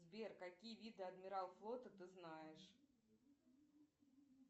сбер какие виды адмирал флота ты знаешь